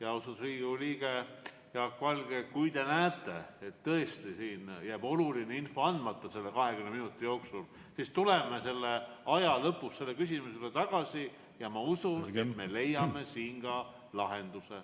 Austatud Riigikogu liige Jaak Valge, kui te näete, et tõesti selle 20 minuti jooksul jääb oluline info andmata, siis tuleme selle aja möödudes selle küsimuse juurde tagasi ja ma usun, et leiame lahenduse.